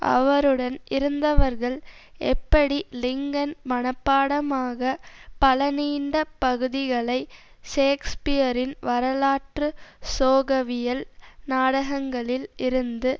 அவருடன் இருந்தவர்கள் எப்படி லிங்கன் மனப்பாடமாக பல நீண்ட பகுதிகளை ஷேக்ஸ்பியரின் வரலாற்று சோகவியல் நாடகங்களில் இருந்து